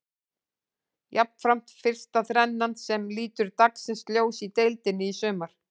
Jafnframt fyrsta þrennan sem lítur dagsins ljós í deildinni í sumar.